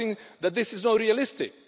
I think that this is not realistic.